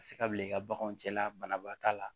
A bɛ se ka bila i ka baganw cɛla banabaatɔ la